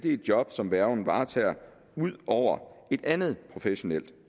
et job som værgen varetager ud over et andet professionelt